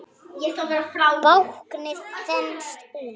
Báknið þenst út.